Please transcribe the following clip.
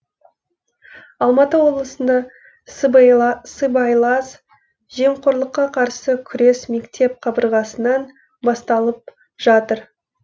алматы облысында сыбайлас жемқорлыққа қарсы күрес мектеп қабырғасынан басталып жатыр